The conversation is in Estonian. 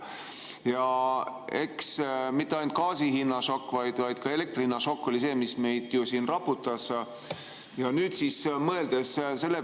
Ja eks see polnud mitte ainult gaasi hinna šokk, mis meid siin raputas, vaid ka elektri hinna šokk.